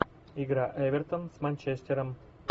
игра эвертон с манчестером